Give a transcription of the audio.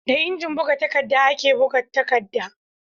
Da injin buga takadda ake buga takadda